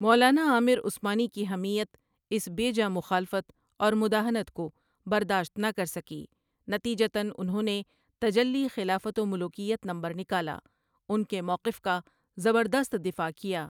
مولانا عامر عثمانی کی حمیت اس بے جا مخالفت اور مداہنت کو برداشت نہ کر سکی، نتیجتاً انہوں نے تجلی خلافت و ملوکیت نمبر نکالا، ان کے موقف کا زبردست دفاع کیا۔